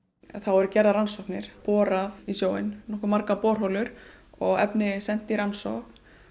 það voru gerðar rannsóknir það boraðar nokkuð margar borholur og efni sent í rannsókn